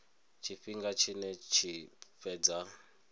tshifhinga tshine dza tshi fhedza